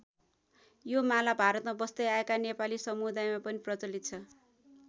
यो माला भारतमा बस्दै आएका नेपाली समुदायमा पनि प्रचलित छ।